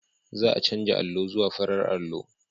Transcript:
Za a canza allo zuwa farar allo.